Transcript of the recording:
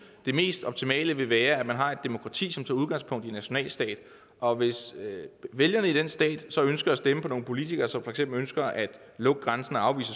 det mest optimale vil være at man har et demokrati som tager udgangspunkt i nationalstaten og hvis vælgerne i den stat så ønsker at stemme på nogle politikere som for eksempel ønsker at lukke grænsen og afvise